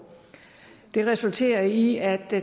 det resulterede i at